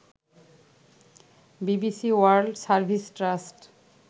BBC world service trust